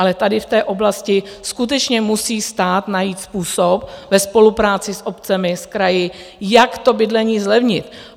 Ale tady v té oblasti skutečně musí stát najít způsob ve spolupráci s obcemi, s kraji, jak to bydlení zlevnit.